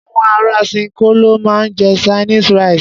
Àwọn ará ṣinkó ló máa ń jẹ Chinese rice.